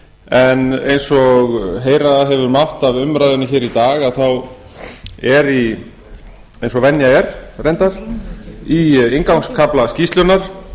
en eins og heyra hefur mátt af umræðunni hér í dag þá er eins og venja er reyndar í inngangskafla skýrslunnar